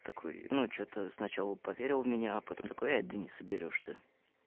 ну что-то сначала поверил меня а потом такая дениса берёшь ты